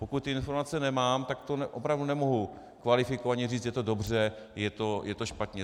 Pokud ty informace nemám, tak to opravdu nemohu kvalifikovaně říct, je to dobře, je to špatně.